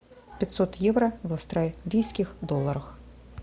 пятьсот евро в австралийских долларах